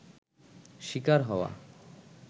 শিকার হওয়া